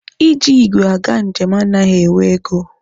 Iji igwe aga njem anaghị ewe ego.